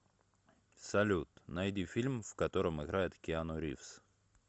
салют найди фильм в котором играет киану ривз